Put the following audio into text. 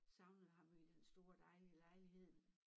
Savnede ham jo i den store lejlighed